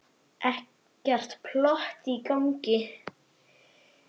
Ekkert plott í gangi.